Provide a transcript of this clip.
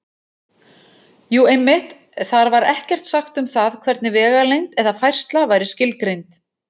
Jú, einmitt: Þar var ekkert sagt um það hvernig vegalengd eða færsla væri skilgreind!